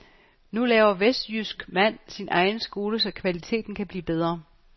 Nu laver vestjysk mand sin egen skole så kvaliteten kan blive bedre.